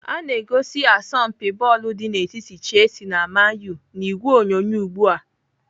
Ana egosi asọmpi bọọlụ dị n'etiti Chelsea na Man U n'ìgwè onyonyo ugbu a.